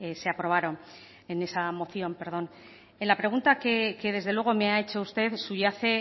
se aprobaron en la pregunta que desde luego me ha hecho usted subyace